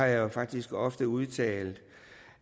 jeg har faktisk ofte udtalt